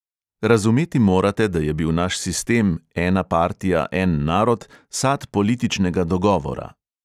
Razumeti morate, da je bil naš sistem, ena partija, en narod, sad političnega dogovora.